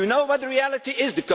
Do you know what the reality